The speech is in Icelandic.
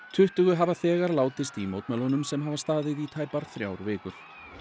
tuttugu hafa þegar látist í mótmælunum sem hafa staðið í tæpar þrjár vikur